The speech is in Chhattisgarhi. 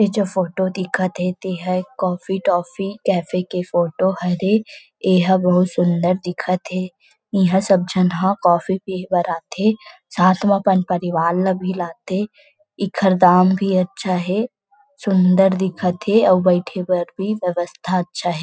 इ जो फोटो दिखात हे ते ह कॉफ़ी टॉफी कैफ़े के फोटो हरे ए ह बहुत सुन्दर दिखत हे इहा सब झन हा कॉफ़ी पीए बर आथे साथ मा अपन परिवार ल भी लाथे इखर दाम भी अच्छा है सुन्दर दिखत हे और बैठे बर भी व्यवस्था अच्छा हे ।